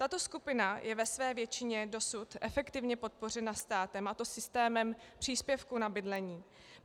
Tato skupina je ve své většině dosud efektivně podpořena státem, a to systémem příspěvku na bydlení.